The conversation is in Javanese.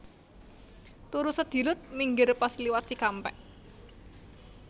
Turu sedilut minggir pas liwat Cikampek